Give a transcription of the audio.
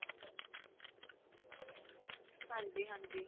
ਹਾਂਜੀ ਹਾਂਜੀ.